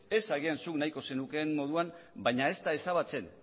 ez agian zuk nahiko zenukeen moduan baina ez da ezabatzen